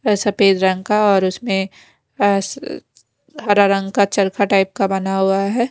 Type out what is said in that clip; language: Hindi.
सफेद रंग का और उसमें अ हरा रंग का चरखा टाइप का बना हुआ है।